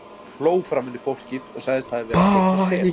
Hún hló framan í fólkið og sagðist hafa verið að teikna sel.